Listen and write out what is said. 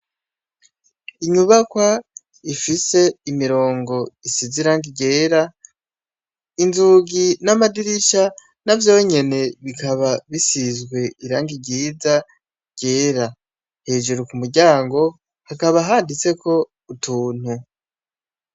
Inyubakwa ifise imirongo isize irangi ryera , inzugi n'amadirisha navyonyene bikaba bisize irangi ryiza ryera. Hejuru kumuryango hakaba handitseko utuntu .